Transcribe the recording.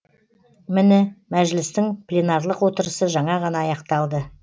міні мәжілістің пленарлық отырысы жаңа ғана аяқталды